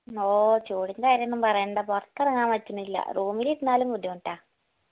ഓ ചൂടിന്റെ കാര്യമൊന്നും പറയണ്ട പൊർത്തെറങ്ങാൻ പറ്റണില്ല room ഇലിരുന്നാലും ബുദ്ധിമുട്ട